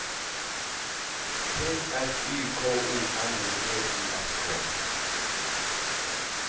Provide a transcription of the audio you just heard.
P S Y K O L O G I S K